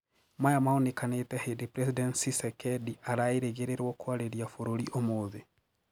Maya maonĩkañĩte hĩndĩ President Tshisekedi araĩgĩrirwo küarĩrĩabũrũrĩ ũmũthĩ.